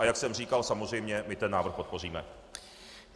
A jak jsem říkal, samozřejmě my ten návrh podpoříme.